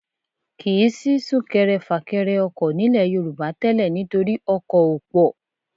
Kì í sí súnkẹrẹ fàkẹrẹ ọkọ̀ nílẹ̀ Yorùbá tẹ́lẹ̀ nítorí ọkọ̀ ò pọ̀